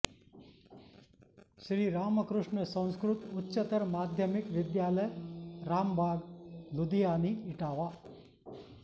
श्री रामकृष्ण संस्कृत उच्चतर माध्यमिक विद्यालय रामबाग लुधियानी इटावा